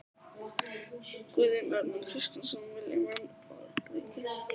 Guðjón Arnar Kristjánsson: Vilja menn borgríki?